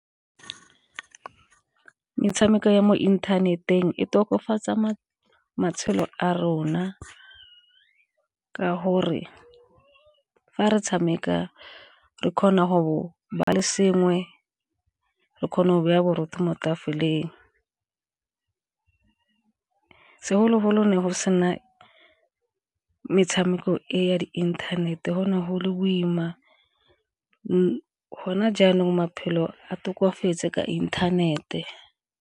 Metshameko ya mo inthaneteng e tokafatsa matshelo a rona ka gore fa re tshameka re kgona go ba le sengwe re kgona go ba ya borotho mo tafoleng. Segologolo ne go sena metshameko e ya di inthanete go ne go le boima go na jaanong maphelo a tokafetse ka inthanete.